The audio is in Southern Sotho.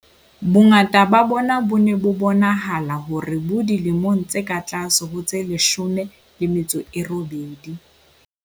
Bongata ba bona bo ne bo bonahala hore bo dilemong tse ka tlase ho tse 18.